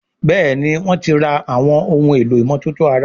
Béèni wón tí rà Àwọn ohun èlò ìmọ́tótó ara.